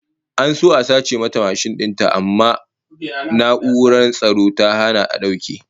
An so a sace mata mashin din ta amma na'urar tsaro ta hana a dauke